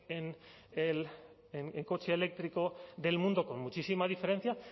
en el coche eléctrico del mundo con muchísima diferencia